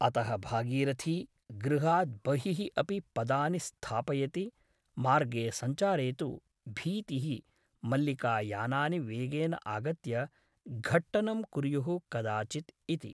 अतः भागीरथी गृहात् बहिः अपि पदानि स्थापयति मार्गे सञ्चारे तु भीतिः मल्लिका यानानि वेगेन आगत्य घट्टनं कुर्युः कदाचित् इति ।